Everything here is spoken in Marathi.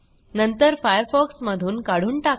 नंतर फायरफॉक्स मधून काढून टाका